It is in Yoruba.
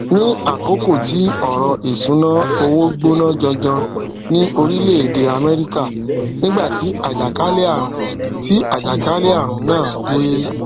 ní àkókò tí ọrọ ìṣúnná owó gbóná janjan ní orílẹèdè amẹríkà nígbà tí àjàkálẹàrùn tí àjàkálẹàrùn náà dé